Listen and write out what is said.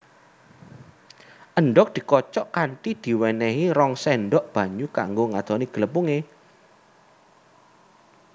Endhog dikocok kanthi diwenenhi rong sendok banyu kanggo ngadoni glepunge